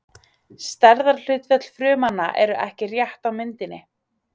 Stærðarhlutföll frumnanna eru ekki rétt á myndinni.